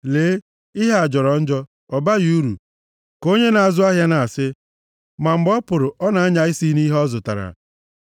“Lee, ihe a jọrọ njọ, ọ baghị uru,” ka onye na-azụ ahịa na-asị, ma mgbe ọ pụrụ ọ na-anya isi nʼihi ihe ọ zụtara.